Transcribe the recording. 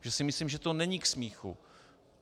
Protože si myslím, že to není k smíchu.